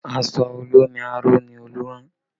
Aṣọ olómi aró ni Olú rán